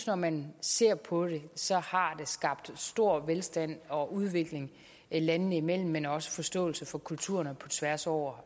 når man ser på det så at har skabt stor velstand og udvikling landene imellem men også en forståelse for kulturerne tværs over